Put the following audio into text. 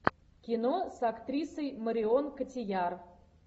кино с актрисой марион котийяр